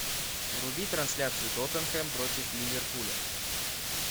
вруби трансляцию тоттенхэм против ливерпуля